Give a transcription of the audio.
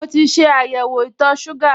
Mo ti ṣe àyẹ̀wò itọ̀ọ ṣúgà